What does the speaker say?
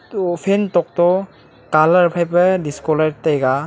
eto fan tokto colour phaipa disco light taipa.